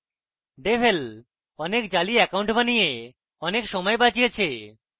devel অনেক জালি account বানিয়ে অনেক সময় বাচিয়েছে